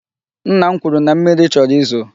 Nna m kwuru na mmiri chọrọ izo.